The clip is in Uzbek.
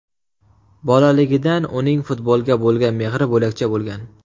Bolaligidan uning futbolga bo‘lgan mehri bo‘lakcha bo‘lgan.